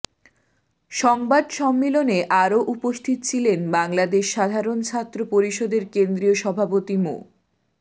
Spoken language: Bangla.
সংবাদ সম্মেলনে আরও উপস্থিত ছিলেন বাংলাদেশ সাধারণ ছাত্র পরিষদের কেন্দ্রীয় সভাপতি মো